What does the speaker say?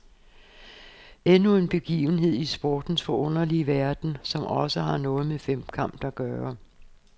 Endnu en begivenhed i sportens forunderlige verden, som også har noget med femkamp at gøre.